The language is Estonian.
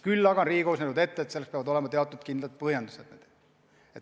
Küll aga on Riigikohus näinud ette, et selleks peavad olema teatud kindlad põhjendused.